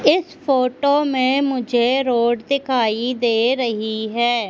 इस फोटो में मुझे रोड दिखाई दे रही है।